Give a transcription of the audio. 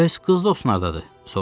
Bəs qız dostun hardadır?